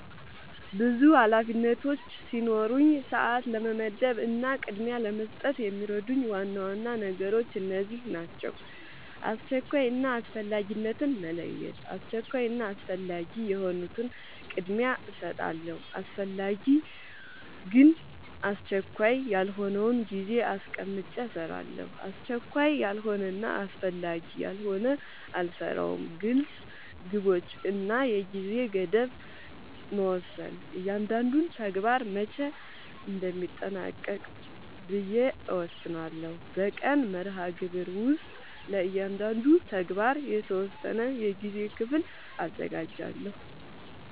ብዙ ኃላፊነቶች ሲኖሩኝ ሰዓት ለመመደብ እና ቅድሚያ ለመስጠት የሚረዱኝ ዋና ዋና ነገሮች እነዚህ ናቸው :-# አስቸኳይ እና አስፈላጊነትን መለየት:- አስቸኳይ እና አስፈላጊ የሆኑትን ቅድሚያ እሰጣለሁ አስፈላጊ ግን አስቸካይ ያልሆነውን ጊዜ አስቀምጨ እሰራለሁ አስቸካይ ያልሆነና አስፈላጊ ያልሆነ አልሰራውም # ግልፅ ግቦች እና የጊዜ ገደብ መወሰን እያንዳንዱን ተግባር መቼ እንደሚጠናቀቅ ብዬ እወስናለሁ በቀን መርሃግብር ውስጥ ለእያንዳንዱ ተግባር የተወሰነ የጊዜ ክፍል አዘጋጃለሁ